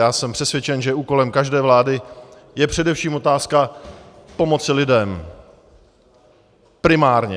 Já jsem přesvědčen, že úkolem každé vlády je především otázka pomoci lidem primárně.